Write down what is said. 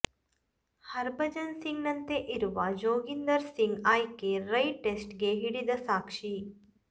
ಹರ್ಭಜನ್ ಸಿಂಗ್ ನಂತೆ ಇರುವ ಜೋಗಿಂದರ್ ಸಿಂಗ್ ಆಯ್ಕೆ ರೈ ಟೇಸ್ಟ್ ಗೆ ಹಿಡಿದ ಸಾಕ್ಷಿ